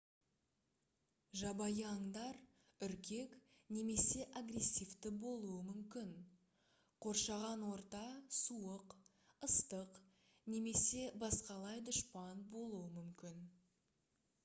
жабайы аңдар үркек немесе агрессивті болуы мүмкін қоршаған орта суық ыстық немесе басқалай дұшпан болуы мүмкін